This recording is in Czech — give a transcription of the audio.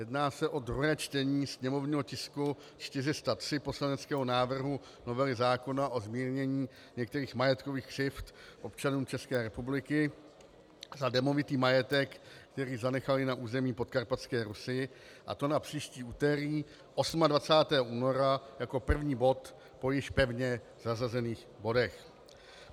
Jedná se o druhé čtení sněmovního tisku 403, poslaneckého návrhu novely zákona o zmírnění některých majetkových křivd občanů České republiky za nemovitý majetek, který zanechali na území Podkarpatské Rusi, a to na příští úterý 28. února jako první bod po již pevně zařazených bodech.